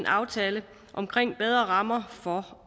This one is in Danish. aftalen om bedre rammer for